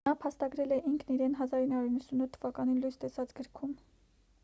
նա փաստագրել է ինքն իրեն 1998 թ լույս տեսած գրքում